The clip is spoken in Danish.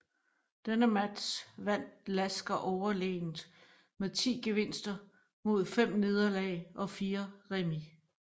Denne match vandt Lasker overlegent med 10 gevinster mod 5 nederlag og 4 remis